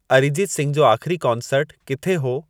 अरीजीत सिंघ जो आख़िरी कॉन्सर्टु किथे हो